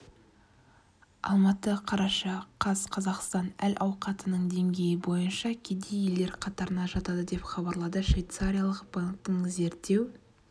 алматы қараша қаз қазақстан әл-ауқатының деңгейі бойынша кедей елдер қатарына жатады деп хабарлады швейцариялық банктің зерттеу